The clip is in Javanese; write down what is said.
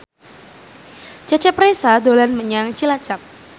Cecep Reza dolan menyang Cilacap